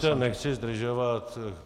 Promiňte, nechci zdržovat.